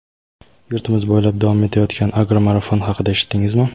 Yurtimiz bo‘ylab davom etayotgan "Agro marafon" haqida eshitdingizmi?.